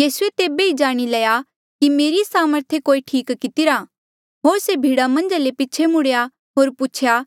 यीसूए तेबे ई जाणी लया कि मेरी सामर्थे कोई ठीक किती रा होर से भीड़ा मन्झा ले पीछे मुड़ेया होर पूछेया